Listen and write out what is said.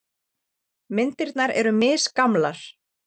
Myndirnar eru misgamlar.